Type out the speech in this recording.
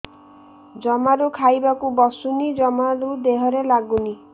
ଜମାରୁ ଖାଇବାକୁ ବସୁନି ଜମାରୁ ଦେହରେ ଲାଗୁନି